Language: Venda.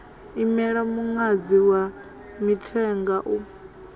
imela muṅadzi wa mithenga u